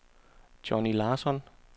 Johnny Larsson